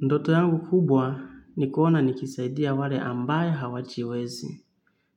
Ndoto yangu kubwa ni kuona nikisaidia wale ambayo hawajiwezi.